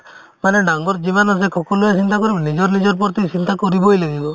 মানে ডাঙৰ যিমান আছে সকলোয়ে চিন্তা কৰিব লাগিব নিজৰ নিজৰ প্ৰতি চিন্তা কৰিবয়ে লাগিব